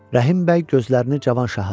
Rəhim bəy gözlərini Cavanşaha dikdi.